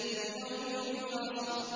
لِيَوْمِ الْفَصْلِ